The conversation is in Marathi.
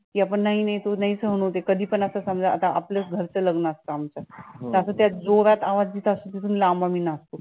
की आपण नाही नाही नाही सहन होतं आहे कधी पण असं समजा आपल्याच घरचं लग्न असतं आमचं असं त्यात जोरात आवाज